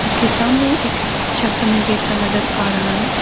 उसके सामने एक शख्स हमें बैठा नजर आ रहा है।